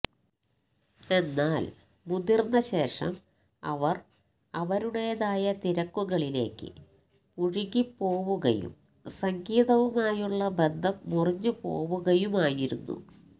എന്നാല് മുതിര്ന്ന ശേഷം അവര് അവരുടെതായ തിരക്കുകളിലേക്ക് മുഴുകിപ്പോുകയും സംഗീതവുമായുള്ള ബന്ധം മുറിഞ്ഞുപോവുകയുമായിരുന്നു